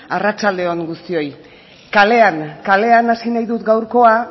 arratsaldeon guztioi kalean kalean hasi nahi dut gaurkoa